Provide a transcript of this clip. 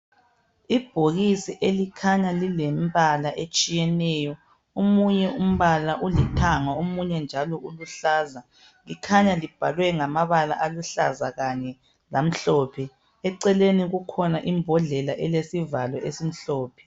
Ibhokisi elikhanya lilembala etshiyeneyo omunye umbala ulithanga omunye njalo uluhlaza likhanya libhalwe ngamabala aluhlaza kanye lamhlophe eceleni kukhona imbodlela elesivalo esimhlophe.